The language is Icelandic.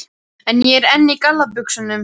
En ég er enn í galla buxunum.